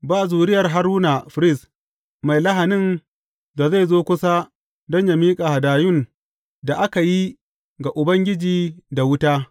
Ba zuriyar Haruna firist, mai lahanin da zai zo kusa don yă miƙa hadayun da aka yi ga Ubangiji da wuta.